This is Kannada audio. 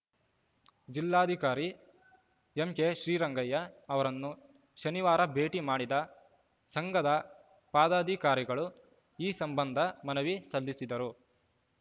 ಜಿಲ್ಲಾಧಿಕಾರಿ ಎಂಕೆ ಶ್ರೀರಂಗಯ್ಯ ಅವರನ್ನು ಶನಿವಾರ ಭೇಟಿ ಮಾಡಿದ ಸಂಘದ ಪದಾಧಿಕಾರಿಗಳು ಈ ಸಂಬಂಧ ಮನವಿ ಸಲ್ಲಿಸಿದರು